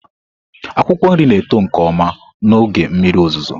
Akwụkwọ nri na-eto nke ọma n'oge mmiri ozuzo.